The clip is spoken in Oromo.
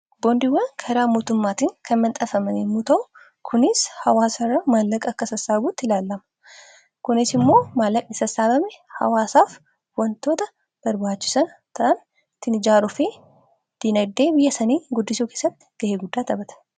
Boondiiwwan karaa mootummaatiin kan manxafaman yemmuu ta'u kunis hawaasa irraa maallaqa akka sassaabuutti ilaalama. Kunis immoo maallaqa isa sassaabame hawaasaaf waantota barbaachisaa ta'an ittiin ijaaruufi diinagdee biyya sanii guddisuu keessatti ga'ee guddaa taphata.